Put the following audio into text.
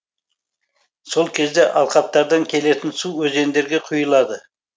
сол кезде алқаптардан келетін су өзендерге құйылады